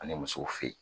Ani musow fe yen